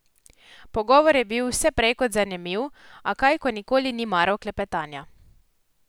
Pogovor je bil vse prej kot zanimiv, a kaj, ko nikoli ni maral klepetanja.